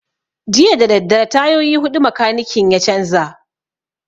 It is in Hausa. Jiya dadadare tayoyi huɗu makanikin ya canza